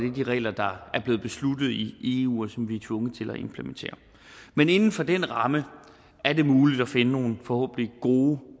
er de regler der er blevet besluttet i eu og som vi er tvunget til at implementere men inden for den ramme er det muligt at finde nogle forhåbentlig gode